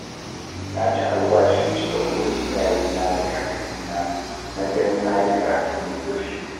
Na ci alwashin cika burin iyayena da kakannina na ganin na yi karatu mai zurfi